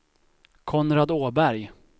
Konrad Åberg